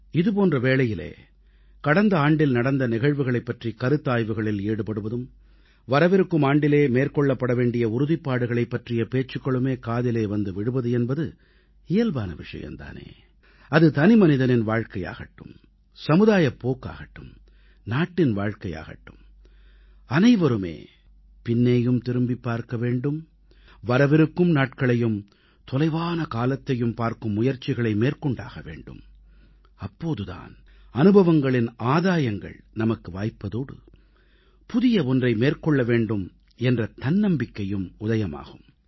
இது போன்ற வேளையிலே கடந்த ஆண்டில் நடந்த நிகழ்வுகளைப் பற்றிக் கருத்தாய்வுகளில் ஈடுபடுவதும் வரவிருக்கும் ஆண்டிலே மேற்கொள்ளப்பட வேண்டிய உறுதிப்பாடுகளைப் பற்றிய பேச்சுக்களும் காதிலே வந்து விழுவது என்பது இயல்பான விஷயம் தானே அது தனிமனிதனின் வாழ்க்கையாகட்டும் சமுதாயப் போக்காகட்டும் நாட்டின் வாழ்க்கையாகட்டும் அனைவருமே பின்னே திரும்பியும் பார்க்க வேண்டும் வரவிருக்கும் நாட்களையும் தொலைவான காலத்தையும் பார்க்கும் முயற்சிகளை மேற்கொண்டாக வேண்டும் அப்போது தான் அனுபவங்களின் ஆதாயங்கள் நமக்கு வாய்ப்பதோடு புதிய ஒன்றை மேற்கொள்ள வேண்டும் என்ற தன்னம்பிக்கையும் உதயமாகும்